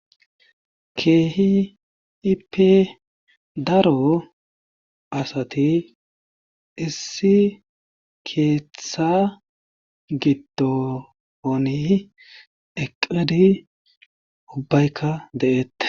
keehi ipe daro asati issi keeththa gitooni eqqedi ubbaykka de7eette